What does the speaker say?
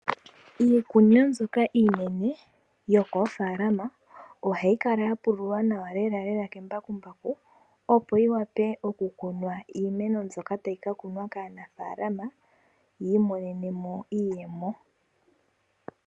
Iikunino mbyoka iinene yokoofaalama, ohayi kala ya pululwa nawa lelalela kembakumbaku opo yi wape okukunwa iimeno mbyoka tayi ka kunwa kaanafaalama yi imonene mo iiyemo.